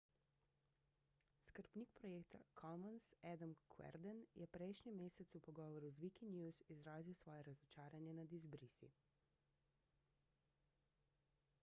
skrbnik projekta commons adam cuerden je prejšnji mesec v pogovoru z wikinews izrazil svoje razočaranje nad izbrisi